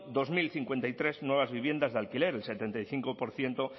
dos mil cincuenta y tres nuevas viviendas de alquiler el setenta y cinco por ciento